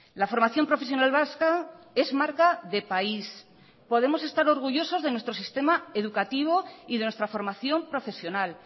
la formación profesional vasca es marca de país podemos estar orgullosos de nuestro sistema educativo y de nuestra formación profesional